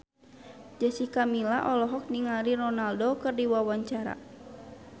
Jessica Milla olohok ningali Ronaldo keur diwawancara